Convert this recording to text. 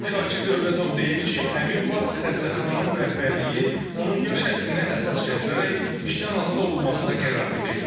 Şakir Dövlətov deyir ki, həmin vaxt xəstəxananın rəhbərliyi onun yaş həddini əsas gətirərək işdən azad olunmasına qərar verib.